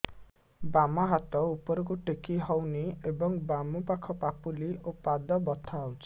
ବାମ ହାତ ଉପରକୁ ଟେକି ହଉନି ଏବଂ ବାମ ପାଖ ପାପୁଲି ଓ ପାଦ ବଥା ହଉଚି